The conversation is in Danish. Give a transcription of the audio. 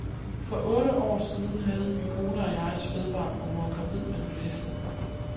For otte år siden havde min kone og jeg et spædbarn, og hun var gravid med den næste.